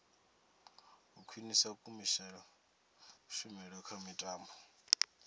u khwinisa kushumele kha mitambo